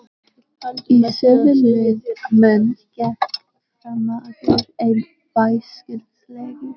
Í sömu mund gekk fram maður einn væskilslegur.